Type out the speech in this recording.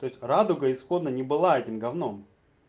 то есть радуга исходно не было этим гавном